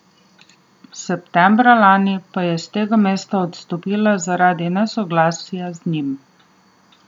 Septembra lani pa je s tega mesta odstopila zaradi nesoglasij z njim.